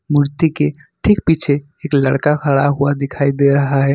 मूर्ति के ठीक पीछे क्या खड़ा हुआ दिखाई दे रहा है।